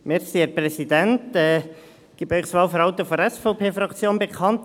Ich gebe Ihnen das Wahlverhalten der SVP-Fraktion bekannt.